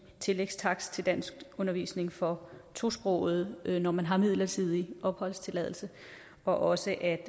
tillægstakst til danskundervisning for tosprogede når man har midlertidig opholdstilladelse og også